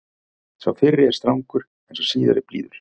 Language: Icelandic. Sá fyrri er strangur en sá síðari blíður.